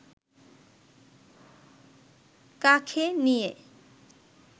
কাঁখে নিয়ে